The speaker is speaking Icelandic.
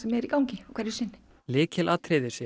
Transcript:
er í gangi hverju sinni lykilatriði sé að